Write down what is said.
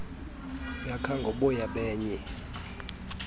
yakha ngoboya benye